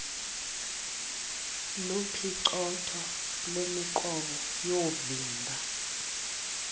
lophicotho lwemiqobo yoovimba